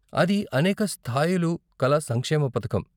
అది అనేక స్థాయిలు కల సంక్షేమ పథకం.